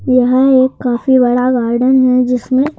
यह एक काफी बड़ा गार्डन है जिसमें --